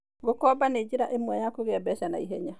Gũkomba nĩ njĩra ĩmwe ya kũgĩa mbeca na ihenya.